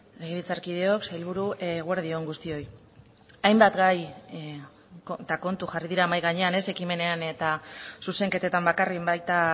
legebiltzarkideok sailburu eguerdi on guztioi hainbat gai eta kontu jarri dira mahai gainean ez ekimenean eta zuzenketetan bakarrik baita